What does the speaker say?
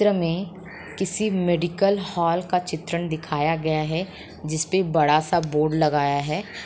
चित्र मे किसी मेडिकल हॉल चित्रण दिखाया गया है जिसपे बड़ा सा बोर्ड लगाया है।